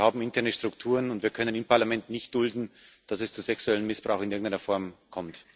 Wir haben interne Strukturen, und wir können im Parlament nicht dulden, dass es zu sexuellem Missbrauch in irgendeiner Form kommt.